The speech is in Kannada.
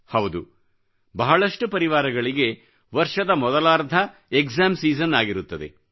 ಹೌದುಬಹಳಷ್ಟು ಪರಿವಾರಗಳಿಗೆ ವರ್ಷದ ಮೊದಲಾರ್ಧ ಪರೀಕ್ಷಾ ಸಮಯ ಆಗಿರುತ್ತದೆ